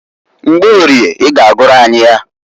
Mgborie i g'agụrụ anyị ya.